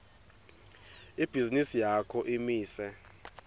ibhizinisi yakho imise